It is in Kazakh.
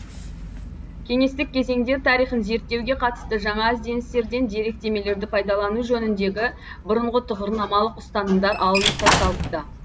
кеңестік кезеңдер тарихын зерттеуге қатысты жаңа ізденістерден деректемелерді пайдалану жөніндегі бұрынғы тұғырнамалық ұстанымдар алынып тасталыпты